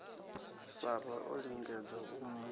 sara o lingedza u mu